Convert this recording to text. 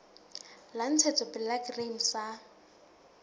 la ntshetsopele la grain sa